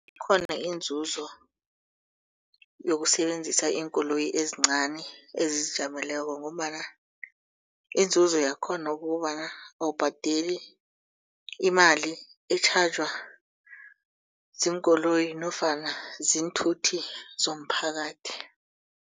Ikhona inzuzo yokusebenzisa iinkoloyi ezincani ezizijameleko ngombana inzuzo yakhona kukobana awubhadeli imali etjhajwa ziinkoloyi nofana ziinthuthi zomphakathi.